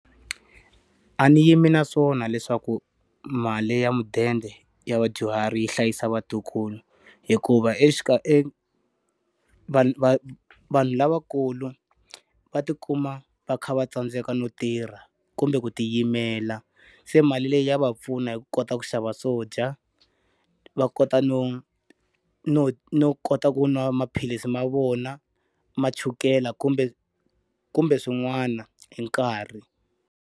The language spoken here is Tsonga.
A ni yimi na swona leswaku mali ya mudende ya vadyuhari yi hlayisa vatukulu. Hikuva vanhu vanhu lavakulu va ti kuma va kha va tsandzeka no tirha kumbe ku ti yimela. Se mali leyi ya va pfuna hi kota ku xava swo dya, va kota no no no kota ku nwa maphilisi ma vona ma chukela kumbe kumbe swin'wana hi nkarhi.